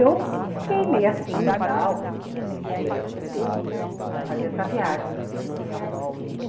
Eu fiquei meio assim e tal, por ele ter ter que fazer essa viagem, mas no fundo eu gostei muito.